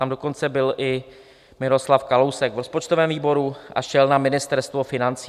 Tam dokonce byl i Miroslav Kalousek v rozpočtovém výboru a šel na Ministerstvo financí.